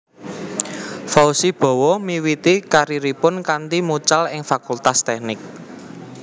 Fauzi Bowo miwiti kariripun kanthi mucal ing Fakultas Teknik